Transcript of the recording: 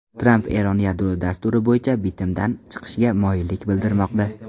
Tramp Eron yadro dasturi bo‘yicha bitimdan chiqishga moyillik bildirmoqda.